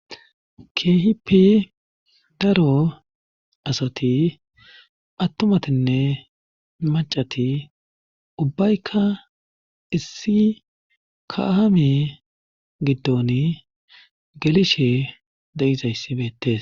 keehippi daro asati attumatinne macati ubbaykka issi kahame giddon gelishe de7izayssi beettes